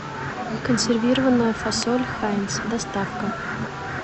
консервированная фасоль хайнц доставка